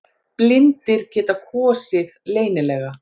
Blindir geta kosið leynilega